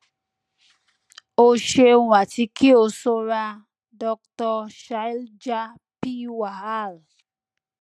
o ṣeun ati ki o sora doctor shailja p wahal